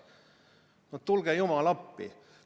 No tule jumal appi!